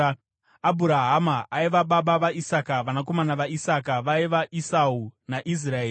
Abhurahama aiva baba vaIsaka. Vanakomana vaIsaka vaiva: Esau naIsraeri.